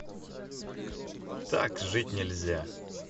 так жить нельзя